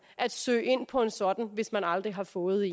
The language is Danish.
at søge ind på en sådan hvis man aldrig har fået